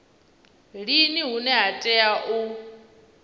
lini hune ha tea u